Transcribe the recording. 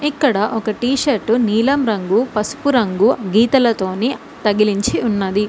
ఇక్కడ ఒక T shirt నీలం రంగు పసుపు రంగు గీతలతోని తగిలించి ఉన్నది.